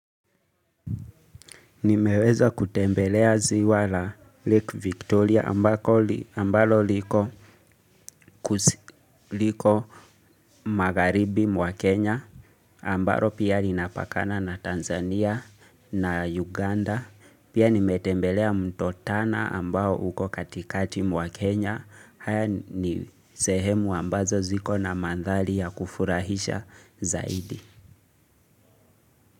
Nimeweza kutembelea ziwa la Lake Victoria ambako ambalo liko magharibi mwa Kenya ambalo pia linapakana na Tanzania na Uganda. Pia nimetembelea mto tana ambao uko katikati mwa Kenya. Haya ni sehemu ambazo ziko na mandhari ya kufurahisha zaidi.